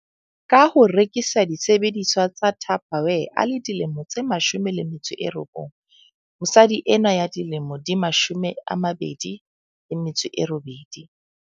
Ka ho rekisa disebediswa tsa Tupperware a le dilemo tse 19, mosadi enwa ya dilemo di 28.